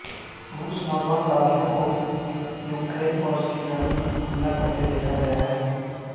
روس نواز باغیوں کو یوکرین فوج کی جانب حملہ کرتے دیکھا گیا ہے